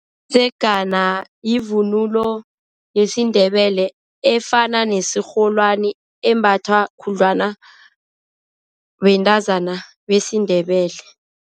Umdzegana yivunulo yesiNdebele efana nesirholwana embathwa khudlwana bentazana besiNdebele.